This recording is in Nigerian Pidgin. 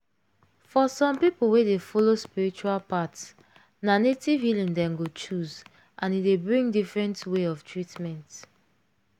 for some people wey dey follow spiritual path na native healing dem go choose and e dey bring different way of treatment.